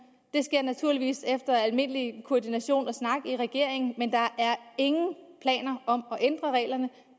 det sker naturligvis efter almindelig koordination og snak i regeringen men der er ingen planer om at ændre reglerne